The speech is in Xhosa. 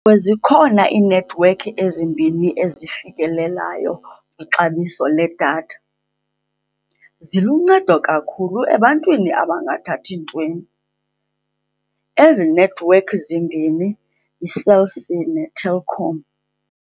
zikhona iinethiwekhi ezimbini ezifikelelayo kwixabiso ledatha. Ziluncedo kakhulu ebantwini abangathathi ntweni. Ezi nethiwekhi zimbini yiCell C neTelkom.